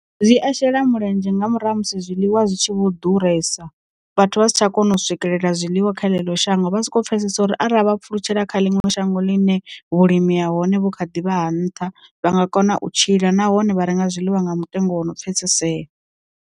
Zwi a shela mulenzhe nga murahu ha musi zwiḽiwa zwi tshi vho ḓuresa vhathu vha si tsha kona u swikelela zwiḽiwa kha ḽeneḽo shango, vha soko pfhesesa uri arali vha pfulutshelaho kha ḽino shango ḽine vhulimi ha hone vho kha ḓivha ha nṱha, vha nga kona u tshila nahone vha renga zwiḽiwa nga mutengo wo no pfesesea.